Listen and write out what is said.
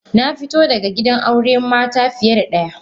Na fito daga gidan auren mata fiye da daya.